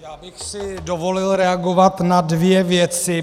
Já bych si dovolil reagovat na dvě věci.